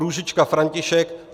Růžička František